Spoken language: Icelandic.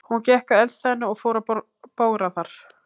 Hún gekk að eldstæðinu og fór að bogra þar.